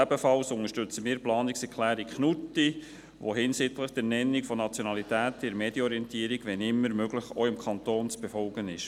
Ebenfalls unterstützen wir die Planungserklärung von Grossrat Knutti, die hinsichtlich der Nationalität in der Medienorientierung, wann immer möglich auch im Kanton Bern zu befolgen ist.